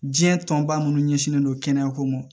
Diɲɛ tɔnba munnu ɲɛsinlen don kɛnɛya ko ma